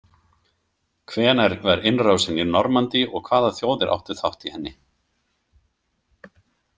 Hvenær var innrásin í Normandí og hvaða þjóðir áttu þátt í henni?